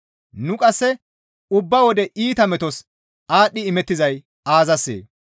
Nu qasse ubba wode iita metos aadhdhi imettizay aazassee?